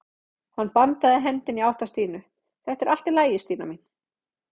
Hann bandaði hendinni í átt að Stínu: Þetta er allt í lagi Stína mín.